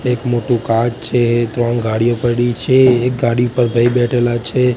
એક મોટુ કાચ છે ત્રણ ગાડીઓ પડી છે એક ગાડી પર ભાઈ બેઠેલા છે.